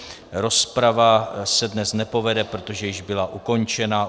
Rozprava se dnes nepovede, protože již byla ukončena.